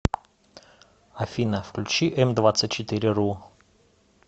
афина включи эм двадцать четыре ру